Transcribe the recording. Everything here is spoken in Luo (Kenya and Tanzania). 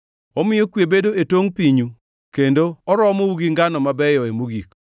Omiyo kwe bedo e tongʼ pinyu kendo oromou gi ngano mabeyoe mogik.